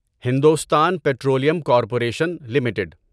Hindustan petroleum corporation limited